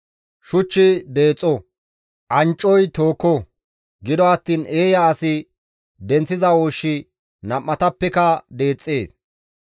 Shuchchi deexo; anccoy tooko; gido attiin eeya asi denththiza ooshshi nam7atappeka deexxees.